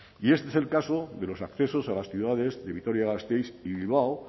y este es el caso de los accesos a las ciudades de vitoria gasteiz y bilbao